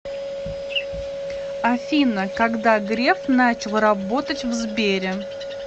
афина когда греф начал работать в сбере